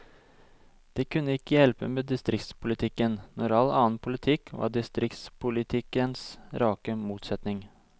Det kunne ikke hjelpe med distriktspolitikken, når all annen politikk var distriktspolitikkens rake motsetning.